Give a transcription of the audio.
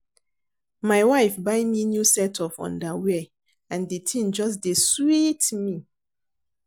My wife buy me new set of underwear and the thing just dey sweet me